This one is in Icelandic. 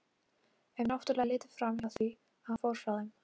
Ef náttúrlega er litið fram hjá því að hann fór frá þeim.